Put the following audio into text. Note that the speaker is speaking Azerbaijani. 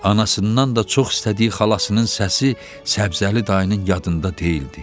Anasında da çox istədiyi xalasının səsi Səbzəli dayının yadında deyildi.